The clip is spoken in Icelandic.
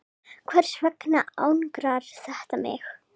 Hvers vegna angrar þetta mig?